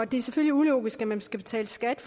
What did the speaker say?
det er selvfølgelig ulogisk at man skal betale skat